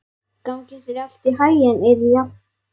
Gangi þér allt í haginn, Irja.